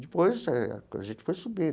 Depois eh, a gente foi subindo.